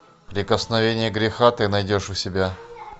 прикосновение греха ты найдешь у себя